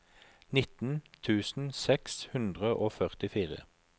nitten tusen seks hundre og førtifire